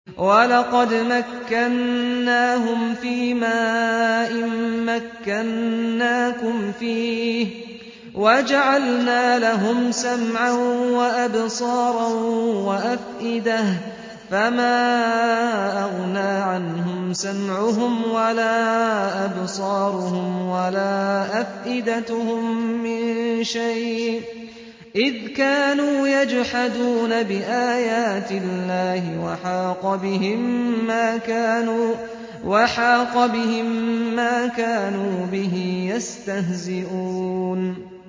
وَلَقَدْ مَكَّنَّاهُمْ فِيمَا إِن مَّكَّنَّاكُمْ فِيهِ وَجَعَلْنَا لَهُمْ سَمْعًا وَأَبْصَارًا وَأَفْئِدَةً فَمَا أَغْنَىٰ عَنْهُمْ سَمْعُهُمْ وَلَا أَبْصَارُهُمْ وَلَا أَفْئِدَتُهُم مِّن شَيْءٍ إِذْ كَانُوا يَجْحَدُونَ بِآيَاتِ اللَّهِ وَحَاقَ بِهِم مَّا كَانُوا بِهِ يَسْتَهْزِئُونَ